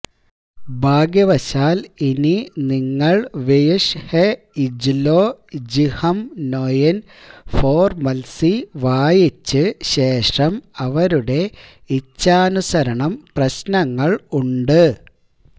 ഭാഗ്യവശാൽ ഇനി നിങ്ങൾ വ്യ്ഷ്ഹെഇജ്ലൊജ്ഹെംനൊയിന്ഫൊര്മത്സീ വായിച്ച് ശേഷം അവരുടെ ഇച്ഛാനുസരണം പ്രശ്നങ്ങൾ ഉണ്ട്